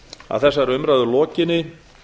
að þessari umræðu lokinni